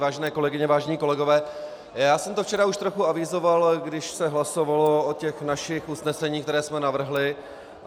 Vážené kolegyně, vážení kolegové, já jsem to včera už trochu avizoval, když se hlasovalo o těch našich usneseních, která jsme navrhli.